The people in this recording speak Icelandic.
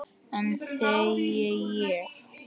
Enn þegi ég.